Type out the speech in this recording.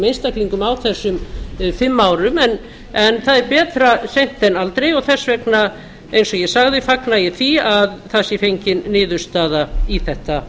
einstaklingum á þessum fimm árum en það er betra seint en aldrei og þess vegna eins og ég sagði fagna ég því að það sé fengin niðurstaða í þetta